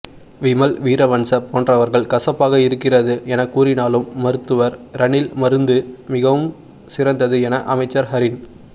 விமல் வீரவன்ஸ போன்றவர்கள் கசப்பாக இருக்கின்றது என கூறினாலும் மருத்துவர் ரணிலின் மருந்து மிகவும் சிறந்தது என அமைச்சர் ஹரின்